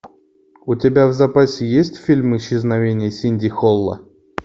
у тебя в запасе есть фильм исчезновение синди холла